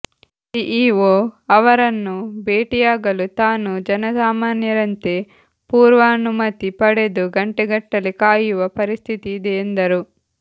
CEO ಅವರನ್ನು ಭೇಟಿಯಾಗಲು ತಾನು ಜನಸಾಮಾನ್ಯರಂತೆ ಪೂರ್ವಾನುಮತಿ ಪಡೆದು ಗಂಟೆಗಟ್ಟಲೆ ಕಾಯುವ ಪರಿಸ್ಥಿತಿ ಇದೆ ಎಂದರು